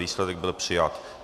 Výsledek: byl přijat.